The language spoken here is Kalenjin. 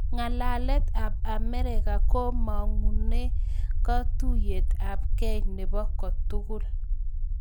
Ng'alalet ap Amerika komagunu katuiyet ap kei nepoo kotugul